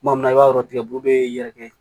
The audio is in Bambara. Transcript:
Kuma min na i b'a dɔn tigɛbu bɛ yɛrɛkɛ